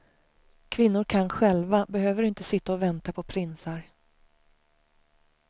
Kvinnor kan själva, behöver inte sitta och vänta på prinsar.